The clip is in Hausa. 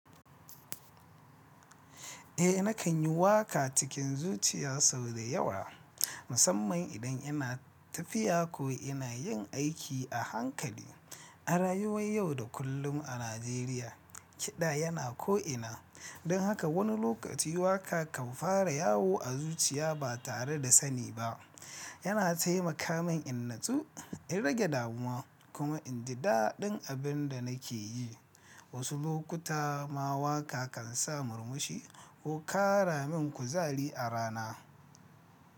Eh nakan yi waka cikin zuciya sau da yawa, musamman idan ina tafiya ko ina yin aiki a hankali. A rayuway yau da kullum a Najeriya, kiɗa yana ko'ina, don haka wani lokaci waka kan fara yawo a zuciya ba tare da sani ba. Yana taimaka min in natsu, in rage damuwa kuma in ji daɗin abin da nake yi. Wasu lokuta ma waka kan sa murmushi ko ƙara min kuzari a rana.